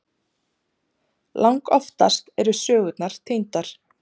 Langoftast eru sögurnar týndar.